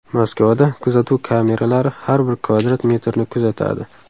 Moskvada kuzatuv kameralari har bir kvadrat metrni kuzatadi.